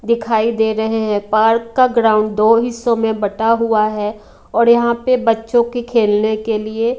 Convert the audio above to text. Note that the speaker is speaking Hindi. दिखाई दे रहे हैं पार्क का ग्राउंड दो हिस्सों में बटा हुआ है और यहां पे बच्चों को खेलने के लिए--